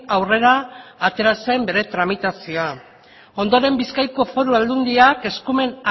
aurrera atera zen bere tramitazioa ondoren bizkaiko foru aldundiak eskumen